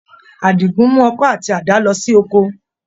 Àdìgún mú ọkọ́ àti àdá lọ sí oko.